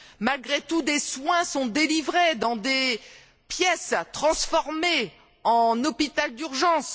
Malgré tout, des soins sont délivrés dans des pièces transformées en hôpital d'urgence.